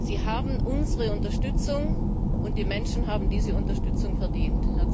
Sie haben unsere Unterstützung, und die Menschen haben diese Unterstützung verdient.